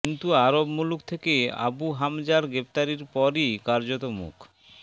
কিন্তু আরব মুলুক থেকে আবু হামজার গ্রেফতারির পরই কার্যত মুখ